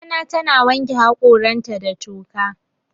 Mamana tana wanke haƙoranta da toka.